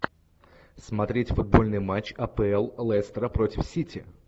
смотреть футбольный матч апл лестера против сити